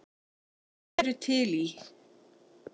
Þær eru til í